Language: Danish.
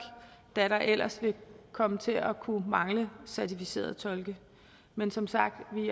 da der ellers ville komme til at kunne mangle certificerede tolke men som sagt